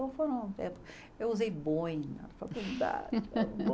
eu usei boina na faculdade.